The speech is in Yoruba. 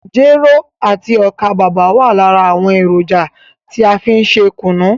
Jero àti ọ́kà bàbà wa lára àwọn èròjà tí a fí n ṣe kùnú.